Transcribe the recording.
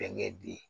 Bɛnkɛ di